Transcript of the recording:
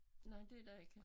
Nej det der ikke